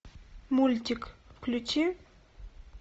мультик включи